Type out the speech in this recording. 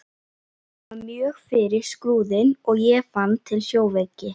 Hún valt mjög fyrir Skrúðinn og ég fann til sjóveiki.